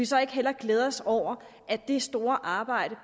så ikke hellere glæde os over at det store arbejde